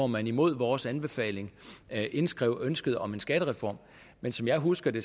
man imod vores anbefaling indskrev ønsket om en skattereform men som jeg husker det